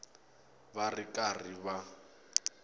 va ri karhi va n